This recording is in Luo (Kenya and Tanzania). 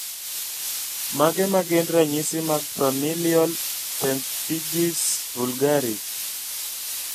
Mage magin ranyisi mag Familial pemphigus vulgaris?